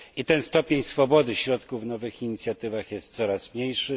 Ten stopień swobody środków na nowe inicjatywy jest coraz mniejszy.